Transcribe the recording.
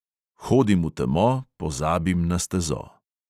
Hodim v temo, pozabim na stezo.